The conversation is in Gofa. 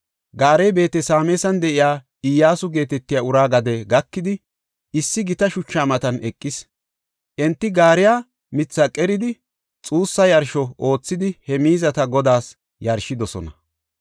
Gaarey Beet-Sameesan de7iya Iyyasu geetetiya uraa gade gakidi, issi gita shuchaa matan eqis. Enti gaariya mithaa qeridi, xuussa yarsho oothidi he miizata Godaas yarshidosona.